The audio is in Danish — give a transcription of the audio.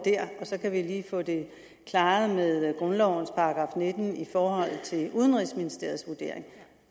så kan vi lige få det klaret med grundlovens § nitten i forhold til udenrigsministeriets vurdering